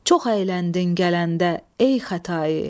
Çox əyləndin gələndə ey Xətai.